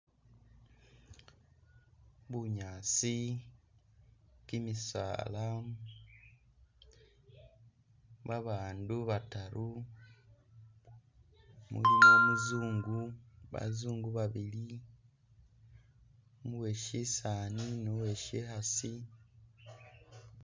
Bunyaasi, kimisaala, babandu bataru, mulimu umuzungu, bazungu babili, uwe syisaani ni uwe syikhaasi.